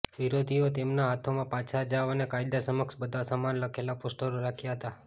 વિરોધીઓએ તેમના હાથોમાં પાછા જાવ અને કાયદા સમક્ષ બધા સમાન લખેલા પોસ્ટરો રાખ્યા હતા